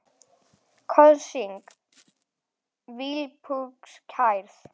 Kosning vígslubiskups kærð